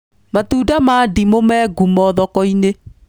Matunda ma ndimũ me ngumo thoko-inĩ